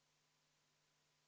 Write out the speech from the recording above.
Aitäh, lugupeetud istungi juhataja!